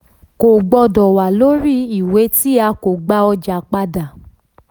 kò gbọdọ wà lórí iwe tí a ko gba ọja padà.